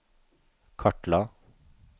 kartla